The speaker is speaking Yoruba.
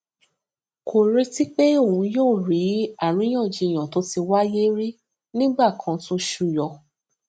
kò retí pé òun yóò rí i àríyànjiyàn tó ti wáyé rí nígbà kan tún suyọ